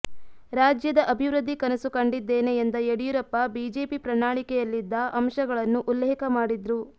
ರಾಜ್ಯದ ಅಭಿವೃದ್ಧಿ ಕನಸು ಕಂಡಿದ್ದೇನೆ ಎಂದ ಯಡಿಯೂರಪ್ಪ ಬಿಜೆಪಿ ಪ್ರಣಾಳಿಕೆಯಲ್ಲಿದ್ದ ಅಂಶಗಳನ್ನು ಉಲ್ಲೇಖ ಮಾಡಿದ್ರು